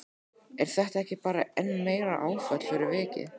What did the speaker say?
Er þetta ekki bara enn meira áfall fyrir vikið?